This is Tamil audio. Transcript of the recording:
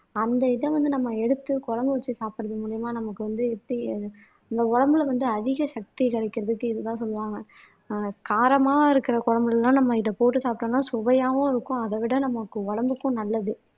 அந்த இத வந்து நம்ம எடுத்து குழம்பு வச்சு சாப்பிடுறது மூலியமா நமக்கு வந்து எப்படி அது நம்ம உடம்புல வந்து அதிக சக்தி கிடைக்கிறதுக்கு இதுதான் சொல்லுவாங்க ஆஹ் காரமா இருக்கிற குழம்புல எல்லாம் நம்ம இத போட்டு சாப்பிட்டோம்னா சுவையாவும் இருக்கும் அத விட நமக்கு உடம்புக்கும் நல்லது